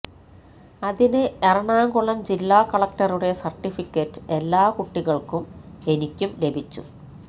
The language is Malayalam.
അതിന് എറണാകുളം ജില്ലാ കളക്ടറുടെ സർട്ടിഫിക്കറ്റ് എല്ലാ കുട്ടികൾക്കും എനിക്കും ലഭിച്ചു